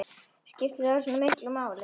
Skiptir það svona miklu máli?